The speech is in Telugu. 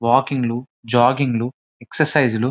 వాకింగ్ లు జాగింగ్ లు ఎక్స్ర్కిప్స్ లు.